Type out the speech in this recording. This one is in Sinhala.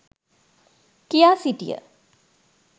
කියා සිටිය